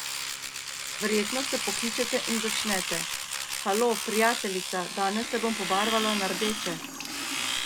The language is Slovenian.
Verjetno se pokličete in začnete: 'Halo, prijateljica, danes se bom pobarvala na rdeče.